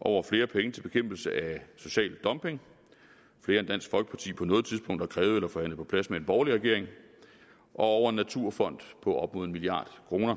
over flere penge til bekæmpelse af social dumping flere end dansk folkeparti på noget tidspunkt har krævet eller forhandlet på plads med en borgerlig regering og over en naturfond på op mod en milliard kroner